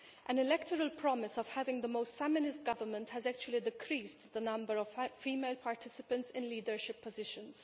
An electoral promise of having the most feminist government has actually decreased the number of female participants in leadership positions.